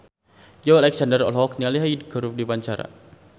Joey Alexander olohok ningali Hyde keur diwawancara